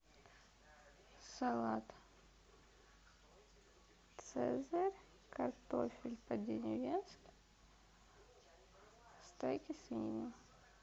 салат цезарь картофель по деревенски стейк из свинины